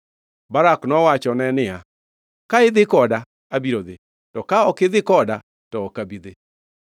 Barak nowachone niya, “Ka idhi koda, abiro dhi; to ka ok idhi koda, to ok abi dhi.”